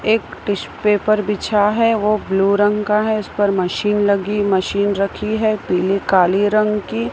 एक tissue paper बिछा है वो ब्लू रंग का है इस पर मशीन लगी मशीन रखी है पीले काली रंग की।